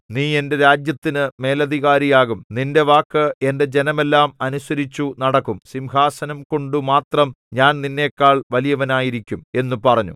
നീ എന്റെ രാജ്യത്തിനു മേലധികാരിയാകും നിന്റെ വാക്ക് എന്റെ ജനമെല്ലാം അനുസരിച്ചു നടക്കും സിംഹാസനംകൊണ്ടു മാത്രം ഞാൻ നിന്നെക്കാൾ വലിയവനായിരിക്കും എന്നു പറഞ്ഞു